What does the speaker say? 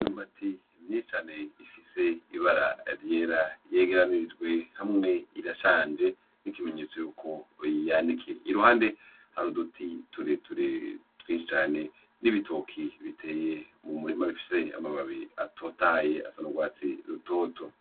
Imyumbati myinshi cane ifise ibara ryera yegeranirijwe hamwe irashanje nk'ikimenyetso ko yanikiye, iruhande hariho uduti tureture twinshi cane n'ibitoke biteye mu murima bifise amababi atotahaye asa n'urwatsi rutoto.